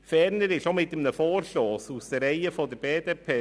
Ferner gibt es auch einen Vorstoss aus den Reihen der BDP.